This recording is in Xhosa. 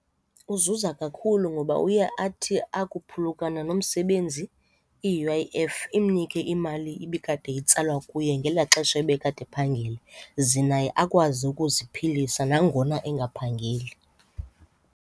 Uzuza kakhulu ngoba uye athi akuphulukana nomsebenzi i-U_I_F imnike imali ibikade itsalwa kuye ngelaa xesha ebekade ephangela, ze akwazi ukuziphilisa nangona engaphangeli.